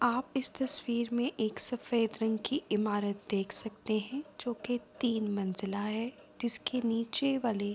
آپ اس تصویر مے ایک سفید رنگ کی امارت دیکھ سکتے ہے جو کے تین منزلا ہے جسکے نیچھے والی